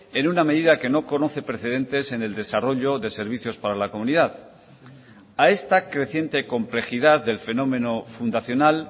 en una medida que no conoce precedentes en el desarrollo de servicios para la comunidad a esta creciente complejidad del fenómeno fundacional